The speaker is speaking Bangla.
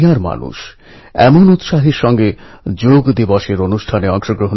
কবি নীরজের বৈশিষ্ট্য ছিল আশা ভরসা দৃঢ় সংকল্প এবং আত্মবিশ্বাস